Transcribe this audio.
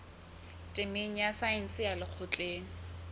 temeng ya saense ya lekgotleng